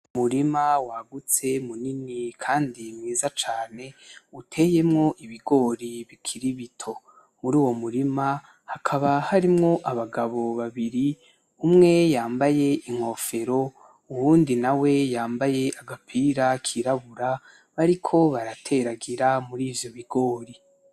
Umurima wagutse muremure kandi mwiza cane uteyemwo ibigori bikiri bito. Muri uwo murima, hakaba harimwo abagabo babiri, umwe yambaye inkofero, uyundi nawe yambaye agapira kirabura, bariko barateragira murivyo bigori.